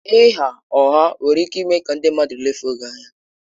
Ịgha ụgha nwere ike ime ka ndị mmadụ lefuo gị anya.